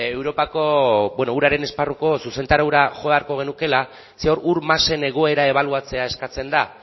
europako beno uraren esparruko zuzentaraura jo beharko genukeela zeren hor ur masen egoera ebaluatzea eskatzen da